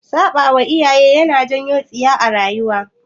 Saɓawa iyaye yana janyo tsiya a rayuwa